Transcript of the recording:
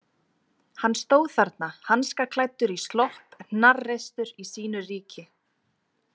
Hann stóð þarna hanskaklæddur í slopp, hnarreistur í sínu ríki.